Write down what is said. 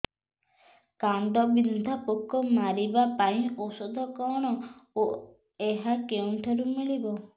କାଣ୍ଡବିନ୍ଧା ପୋକ ମାରିବା ପାଇଁ ଔଷଧ କଣ ଓ ଏହା କେଉଁଠାରୁ ମିଳିବ